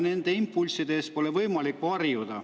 Nende impulsside eest pole võimalik varjuda.